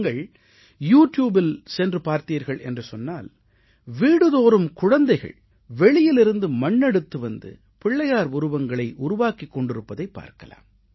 நீங்கள் யூ ட்யூபில் சென்று பார்த்தீர்கள் என்று சொன்னால் வீடுதோறும் குழந்தைகள் வெளியிலிருந்து மண்ணெடுத்து வந்து பிள்ளையார் உருவங்களை உருவாக்கிக் கொண்டிருப்பதைப் பார்க்கலாம்